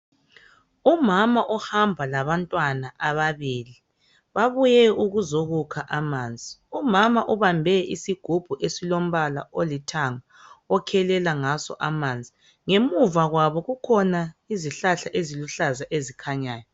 Umama ohamba labantwana ababili. Babuye ukuzokukha amanzi. Umama ubambe isigubhu esilombala olithanga okhelela ngaso amanzi. Ngemuva kwabo kukhona isihlahla esiluhlaza esikhanyayo.